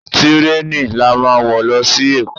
Tírèènì la máa wo lọ sí èkó.